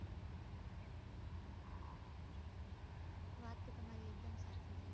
વાત તો તમારી એકદમ સાચી છે